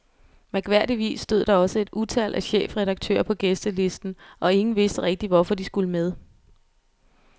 Mærkværdigvis stod der også et utal af chefredaktører på gæstelisten, og ingen vidste rigtigt, hvorfor de skulle med.